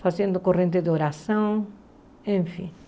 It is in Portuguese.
fazendo corrente de oração, enfim.